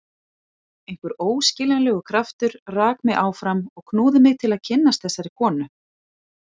Einhver óskiljanlegur kraftur rak mig áfram og knúði mig til að kynnast þessari konu.